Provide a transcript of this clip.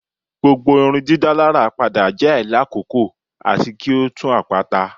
Gbogbo pada irundidalara jẹ ailakoko ati ki o tun apata